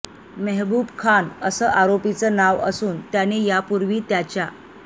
मेहबूब खान असं आरोपीचं नाव असून त्याने यापूर्वी त्याच्या